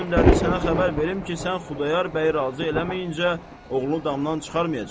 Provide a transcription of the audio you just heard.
Məni göndərdi sənə xəbər verim ki, sən Xudayar bəyi razı eləməyincə oğlunu damdan çıxarmayacaq.